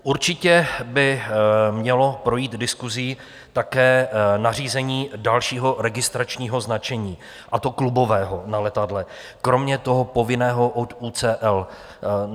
Určitě by mělo projít diskusí také nařízení dalšího registračního značení, a to klubového na letadlech kromě toho povinného od UCL.